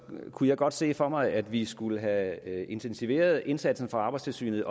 kunne jeg godt se for mig at vi skulle have intensiveret indsatsen fra arbejdstilsynet